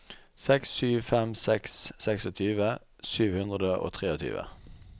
seks sju fem seks tjueseks sju hundre og tjuetre